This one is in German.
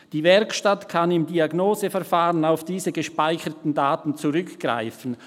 Die Werkstatt kann im Diagnoseverfahren auf diese gespeicherten Daten zugreifen.